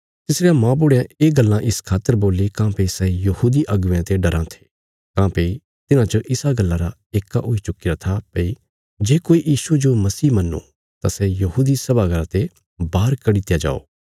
तिसरयां मौबुढ़यां ये गल्लां इस खातर बोल्ली काँह्भई सै यहूदी अगुवेयां ते डराँ थे काँह्भई तिन्हां च इसा गल्ला रा येक्का हुई चुक्कीरा था भई जे कोई यीशुये जो मसीह मन्नो तां सै यहूदी सभा घर ते बाहर कड्डी दित्या जाओ